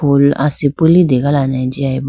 fool asipi litelane jiyaye boo.